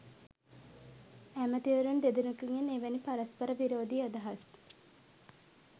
ඇමැතිවරුන් දෙදෙනකුගෙන් එවැනි පරස්පර විරෝධී අදහස්